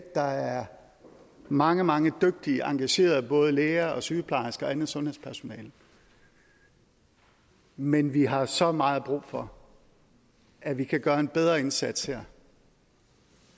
der er mange mange dygtige og engagerede både læger og sygeplejersker og andet sundhedspersonale men vi har så meget brug for at vi kan gøre en bedre indsats her det